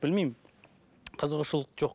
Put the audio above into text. білмеймін қызығушылық жоқ